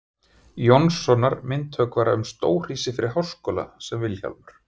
Jónssonar, myndhöggvara, um stórhýsi fyrir háskóla, sem Vilhjálmur